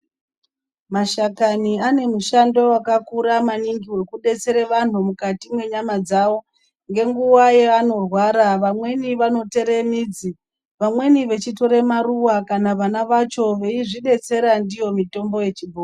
Mashakani ane mushando wakakura maningi, wekudetsera vantu mukati menyama dzavo, ngenguva yavanorwara vamweni vanochere midzi, vamweni veyitora maruwa kana vana vacho vachidzidetsera ndiyo mitombo yechibhoyi.